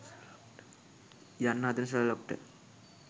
යන්න හදන ෂර්ලොක්ට